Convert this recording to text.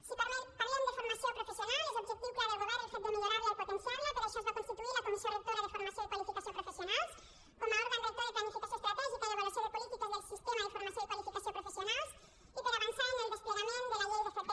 si parlem de formació professional és objectiu clar del govern el fet de millorar la i potenciar la per això es va constituir la comissió rectora de formació i qualificació professionals com a òrgan rector de planificació estratègica i avaluació de polítiques del sistema de formació i qualificació professionals i per avançar en el desplegament de la llei d’fp